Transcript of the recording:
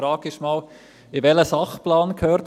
Die Frage ist zunächst, in welchen Sachplan dies gehört.